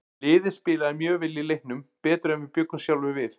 Liðið spilaði mjög vel í leiknum, betur en við bjuggumst sjálfir við.